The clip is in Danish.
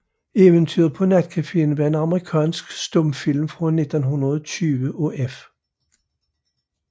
Eventyret paa Natcaféen er en amerikansk stumfilm fra 1920 af F